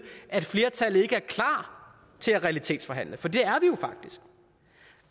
at flertallet ikke er klar til at realitetsforhandle for det